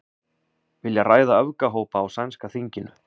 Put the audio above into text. Vilja ræða öfgahópa á sænska þinginu